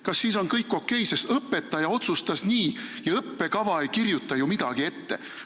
Kas siis on kõik okei, sest õpetaja otsustas nii ja õppekava ei kirjuta ju midagi ette?